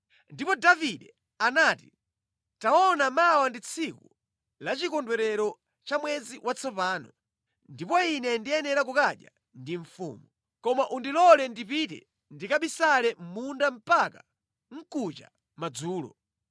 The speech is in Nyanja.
Ndipo Davide anati, “Taona mawa ndi tsiku la chikondwerero cha mwezi watsopano, ndipo ine ndiyenera kukadya ndi mfumu. Koma undilole ndipite ndikabisale mʼmunda mpaka mkuja madzulo.